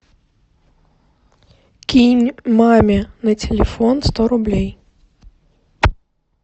кинь маме на телефон сто рублей